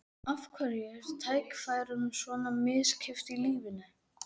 Af hverju er tækifærunum svona misskipt í lífinu?